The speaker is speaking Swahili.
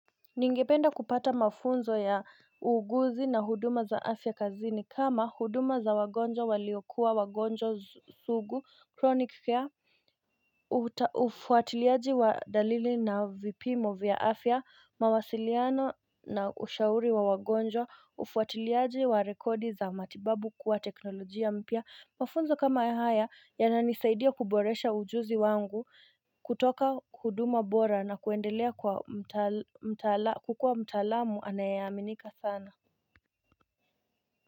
Ningependa kupata mafunzo ya uuguzi na huduma za afya kazini kama huduma za wagonjwa waliokuwa wagonjwa sugu chronic care Ufuatiliaji wa dalili na vipimo vya afya, mawasiliano na ushauri wa wagonjwa, ufuatiliaji wa rekodi za matibabu kuwa teknolojia mpya Mafunzo kama ya haya yananisaidia kuboresha ujuzi wangu kutoka huduma bora na kuendelea kwa mtal mtaak kukua mtaalamu anayeaminika sana.